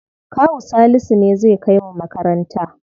Kawu Salisu ne zai kai mu makaranta.